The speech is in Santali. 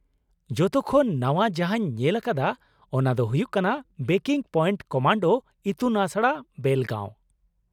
ᱡᱚᱛᱚ ᱠᱷᱚᱱ ᱱᱟᱶᱟ ᱡᱟᱦᱟᱸᱧ ᱧᱮᱞ ᱟᱠᱟᱫᱟ ᱚᱱᱟ ᱫᱚ ᱦᱩᱭᱩᱜ ᱠᱟᱱᱟ 'ᱵᱨᱮᱠᱤᱝ ᱯᱚᱭᱮᱱᱴᱺ ᱠᱚᱢᱟᱱᱰᱳ ᱤᱛᱩᱱ ᱟᱥᱲᱟ, ᱵᱮᱞᱜᱟᱺᱣ '᱾